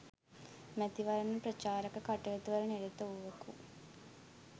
මැතිවරණ ප්‍රචාරක කටයුතුවල නිරත වූවකු